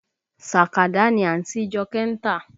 Sàkádà ni àǹtí Jọkẹ́ ń tà